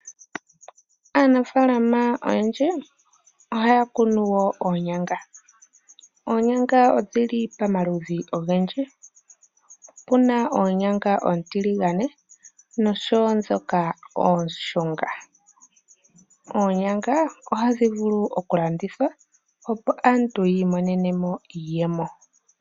Aanafaalama oyendji ohaya kunu woo oonyanga. Oonyanga odhili pamaludhi ogendji, opuna oonyanga ootiligane nosho woo shoka ooshunga. Oonyanga ohadhi vulu woo oku landithwa opo aantu yiimonene iiyemo.